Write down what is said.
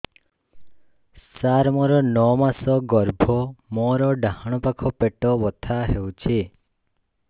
ସାର ମୋର ନଅ ମାସ ଗର୍ଭ ମୋର ଡାହାଣ ପାଖ ପେଟ ବଥା ହେଉଛି